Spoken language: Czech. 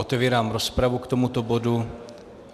Otevírám rozpravu k tomuto bodu.